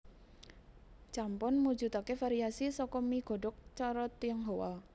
Champon mujudake variasi saka mi godhog cara Tionghoa